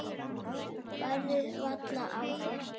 Bærðir varla á þér.